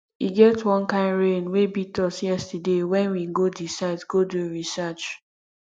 e get wan kin rain wey beat us yesterday wen we go the site go do research